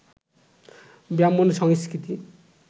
ব্রাহ্মণ্য সংস্কৃতি